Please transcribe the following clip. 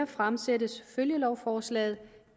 fremsættes følgelovforslaget